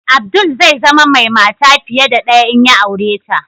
Abdul zai zama mai mata fiye da ɗaya in ya aure ta.